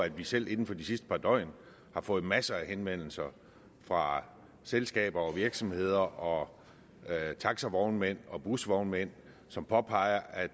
at vi selv inden for de sidste par døgn har fået masser af henvendelser fra selskaber og virksomheder og taxavognmænd og busvognmænd som påpeger at